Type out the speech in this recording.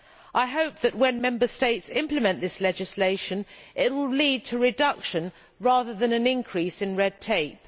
I hope that when Member States implement this legislation it will lead to a reduction rather than an increase in red tape.